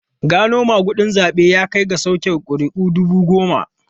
Gano magudin zabe ya kai ga soke kuri'u dubu goma.